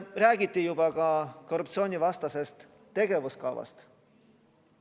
Räägiti ka korruptsioonivastasest tegevuskavast.